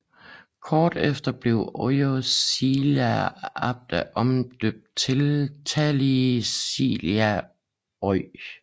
Kort efter blev Oyj Silja Abp omdøbt til Tallink Silja Oy